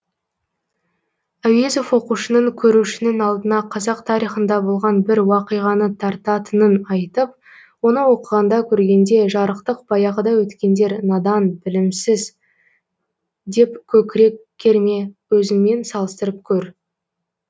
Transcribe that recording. әуезов оқушының көрушінің алдына қазақ тарихында болған бір уақиғаны тартатынын айтып оны оқығанда көргенде жарықтық баяғыда өткендер надан білімсіз деп көкірек керме өзіңмен салыстырып көр